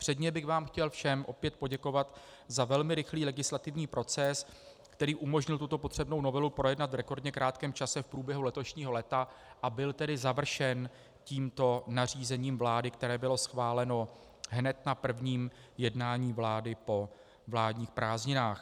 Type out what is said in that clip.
Předně bych vám chtěl všem opět poděkovat za velmi rychlý legislativní proces, který umožnil tuto potřebnou novelu projednat v rekordně krátkém čase v průběhu letošního léta, a byl tedy završen tímto nařízením vlády, které bylo schváleno hned na prvním jednání vlády po vládních prázdninách.